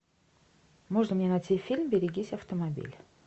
можно мне найти фильм берегись автомобиля